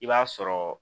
I b'a sɔrɔ